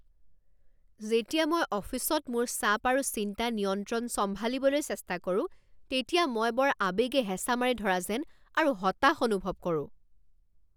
যেতিয়া মই অফিচত মোৰ চাপ আৰু চিন্তা নিয়ন্ত্ৰণ চম্ভালিবলৈ চেষ্টা কৰোঁ তেতিয়া মই বৰ আৱেগে হেঁচা মাৰি ধৰা যেন আৰু হতাশ অনুভৱ কৰোঁ।